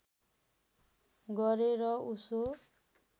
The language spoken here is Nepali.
गरेँ र उसो